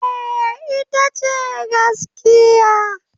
Eh, ita ce gaskiya.